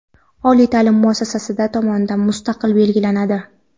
oliy taʼlim muassasasi tomonidan mustaqil belgilanadi.